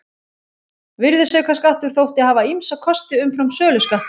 Virðisaukaskattur þótti hafa ýmsa kosti umfram söluskattinn.